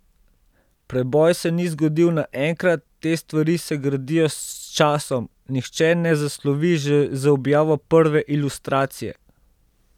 Preboj se ni zgodil naenkrat, te stvari se gradijo s časom, nihče ne zaslovi že z objavo prve ilustracije.